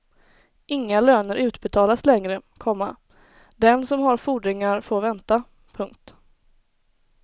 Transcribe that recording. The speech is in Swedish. Inga löner utbetalas längre, komma den som har fordringar får vänta. punkt